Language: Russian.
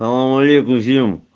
салам алейкум всем